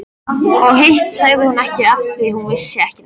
Og hitt sagði hún ekki afþvíað hún vissi ekki neitt.